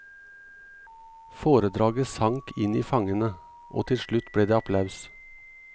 Foredraget sank inn i fangene, og til slutt ble det applaus.